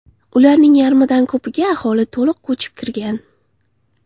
Ularning yarmidan ko‘piga aholi to‘liq ko‘chib kirgan.